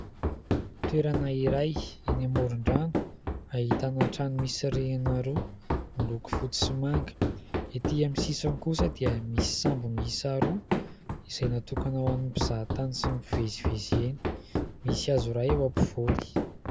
Toerana iray eny amoron-drano ahitana trano misy rihana roa miloko foty sy manga, etỳ aminy sisiny kosa dia misy sambo miisa roa izay natokana ho amin'ny mpizahatany sy ny mpivezivezy eny, misy hazo iray eo ampovoany.